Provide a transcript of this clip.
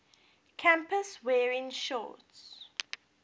campus wearing shorts